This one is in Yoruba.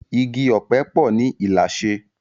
Igi òpè po ni Ilashe